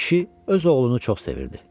Amma kişi öz oğlunu çox sevirdi.